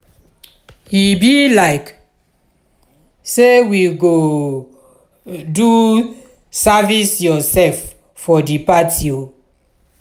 e be like sey we go doo service-yoursef for di party o.